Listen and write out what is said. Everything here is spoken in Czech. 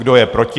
Kdo je proti?